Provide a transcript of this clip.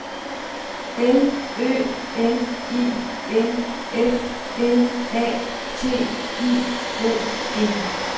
L Ø N I N F L A T I O N